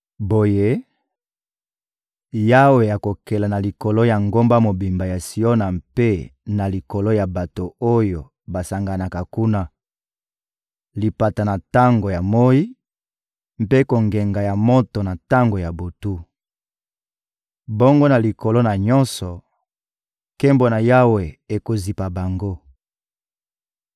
Boye, Yawe akokela na likolo ya ngomba mobimba ya Siona mpe na likolo ya bato oyo basanganaka kuna: lipata na tango ya moyi, mpe kongenga ya moto na tango ya butu. Bongo na likolo na nyonso, nkembo na Yawe ekozipa bango.